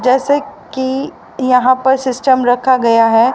जैसे कि यहां पे सिस्टम रखा गया है।